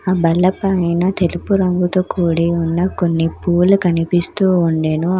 ఆ బల్ల పైన తెలుపు రంగుతో కూడి ఉన్న కొన్ని పూలు కనిపిస్తూ ఉండెను. ఆ--